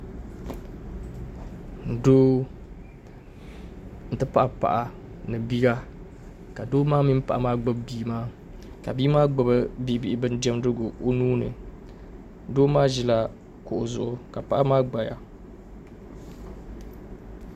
Doo nti pahi paɣa ni bia ka doo maa mini paɣa maa gbubi bia maa ka bia maa gbubi bi' bihi bindiɛmdigu o nuu ni doo maa ʒi la kuɣu zuɣu ka paɣa maa gbaya